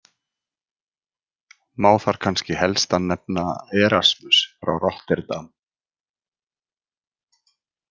Má þar kannski helstan nefna Erasmus frá Rotterdam.